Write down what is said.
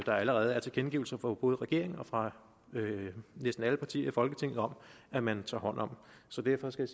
der allerede er tilkendegivelser fra både regeringen og fra næsten alle partier i folketinget om at man tager hånd om så derfor skal